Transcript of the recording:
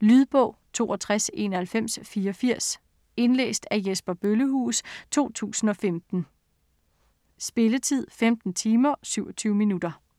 Lydbog 629184 Indlæst af Jesper Bøllehuus, 2015. Spilletid: 15 timer, 27 minutter.